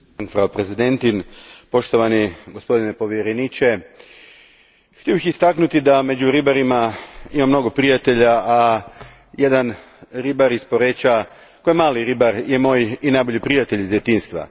Gospođo predsjednice, gospodine povjereniče, htio bih istaknuti da među ribarima imam mnogo prijatelja, a jedan ribar iz Poreča, koji je mali ribar, moj je najbolji prijatelj iz djetinjstva.